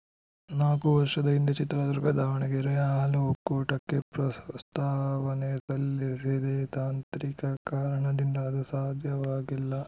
ನಾಲ್ಕು ವರ್ಷದ ಹಿಂದೆ ಚಿತ್ರದುರ್ಗದಾವಣಗೆರೆ ಹಾಲು ಒಕ್ಕೂಟಕ್ಕೆ ಪ್ರಸ್ತಾವನೆ ಸಲ್ಲಿಸಿದ್ದೆ ತಾಂತ್ರಿಕ ಕಾರಣದಿಂದ ಅದು ಸಾಧ್ಯವಾಗಿಲ್ಲ